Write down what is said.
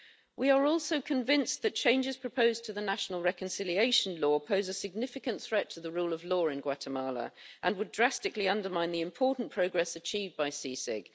We are also convinced that changes proposed to the national reconciliation law pose a significant threat to the rule of law in Guatemala, and would drastically undermine the important progress achieved by CICIG.